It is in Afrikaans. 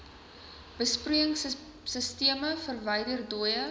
besproeiingsisteme verwyder dooie